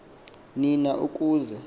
ni na ukuze